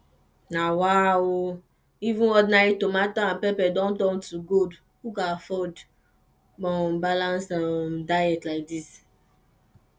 na wa o even ordinary tomato and pepper don turn to gold who go afford um balanced um diet like this